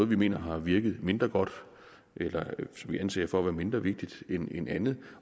vi mener har virket mindre godt eller som vi anser for at være mindre vigtigt end andet